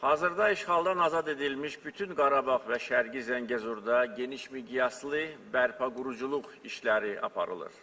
Hazırda işğaldan azad edilmiş bütün Qarabağ və Şərqi Zəngəzurda geniş miqyaslı bərpa-quruculuq işləri aparılır.